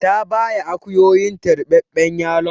Ta baya akuyoyinta ruɓaɓɓen yalon.